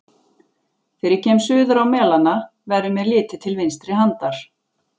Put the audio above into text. Þegar ég kem suður á Melana, verður mér litið til vinstri handar.